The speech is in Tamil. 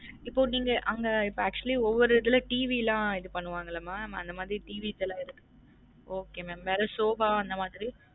இப்ப நீங்க அங்க இப்ப actually ஒவ்வொரு இதுல TV லா இது பண்ணுவாங்கள mam அந்த மாதிரி TV லாம் இருக்~ okay mam வேற soffa அந்த மாதிரி